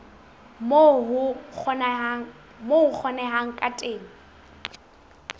moo ho kgonehang ka teng